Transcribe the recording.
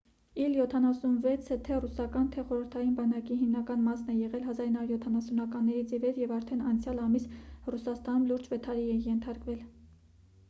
իլ 76-ը թե ռուսական թե խորհրդային բանակի հիմնական մասն է եղել 1970-ականներից ի վեր և արդեն անցյալ ամիս ռուսաստանում լուրջ վթարի է ենթարկվել